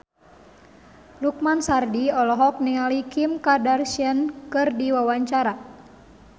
Lukman Sardi olohok ningali Kim Kardashian keur diwawancara